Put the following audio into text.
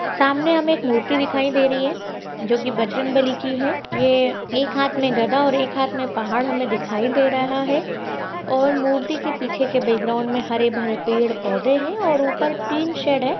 सामने हमें एक मूर्ति दिखाई दे रही है जो की बजरंगबली की है ये एक हात में गदा और एक हात मे पहाड़ हमें दिखाई दे रहा है और मूर्ति के पीछे के बॅकग्राउंड में हरे भरे पेड़ पोधे है और ऊपर टीन शेड है।